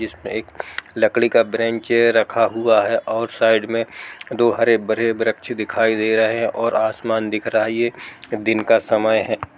इसमे एक लकड़ी का बेंच अ रखा हुआ है और साइड मे दो हरे-भरे वृक्ष दिखाई दे रहे हैं और आसमान दिख रहा है ये दिन का समय है।